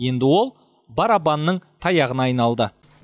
енді ол барабанның таяғына айналды